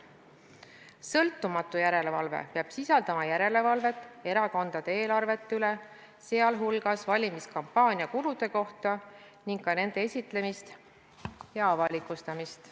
Sõltumatu järelevalve peab sisaldama järelevalvet erakondade eelarvete üle, sh valimiskampaania kulude kohta, ning ka nende esitlemist ja avalikustamist.